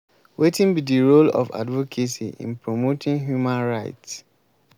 wetin be di role of advocacy in promoting human rights?